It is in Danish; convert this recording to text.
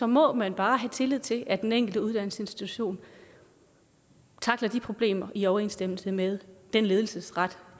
må man bare have tillid til at den enkelte uddannelsesinstitution tackler de problemer i overensstemmelse med den ledelsesret